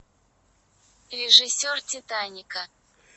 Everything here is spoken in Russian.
режиссер титаника